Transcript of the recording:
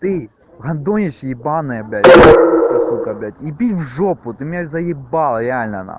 адонис е б с блять иди в ж ты меня з